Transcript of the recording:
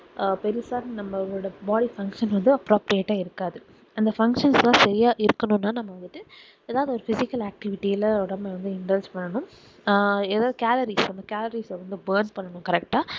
அஹ் பெருசா நம்மளோட body function வந்துட்டு approximate ஆஹ் இருக்காது அந்த function லாம் சரியாய் இருக்கணும் னாநம்ம வந்துட்டு எதாவது ஒரு physical activiti ல வந்து நம்ம interest பண்ணனும் ஆஹ் எதாவது calories நம்ம calories வந்து born பண்ணனும் correct டா